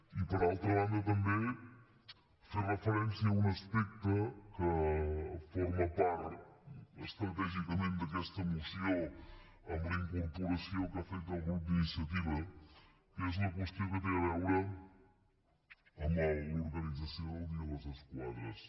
i per altra banda també fer referència a un aspecte que forma part estratègicament d’aquesta moció amb la incorporació que ha fet del grup d’iniciativa que és la qüestió que té a veure amb l’organització del dia de les esquadres